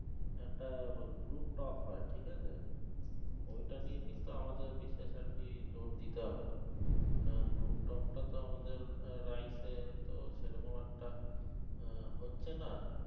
একটা group talk হয়ে ঠিক আছে ওইটা নিয়ে কিন্তু আমাদের বিশেষ আর কি জোর দিতে হবে না group talk টা তো আমাদের life এ তো সেরকম একটা আহ হচ্ছে না